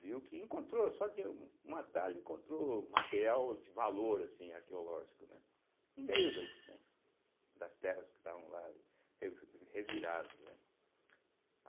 viu que encontrou, só de um atalho, encontrou material de valor, assim arqueológico, né, no meio do né das terras que estavam lá revi reviradas, né.